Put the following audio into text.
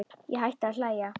Ég hætti að hlæja.